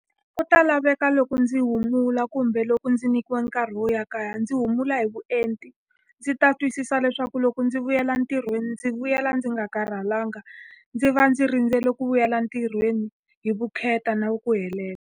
Ku ta laveka loko ndzi humula kumbe loko ndzi nyikiwa nkarhi wo ya kaya, ndzi humula hi vuenti. Ndzi ta twisisa leswaku loko ndzi vuyela entirhweni, ndzi vuyela ndzi nga karhalanga. Ndzi va ndzi rindzele ku vuyela ntirhweni hi vukheta na ku helela.